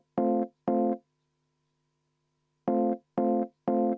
Helle-Moonika Helme, palun!